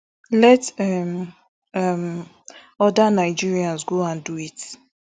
let um um other nigerians go and do it